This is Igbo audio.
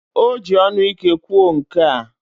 O ji onu ike kwuo nkea.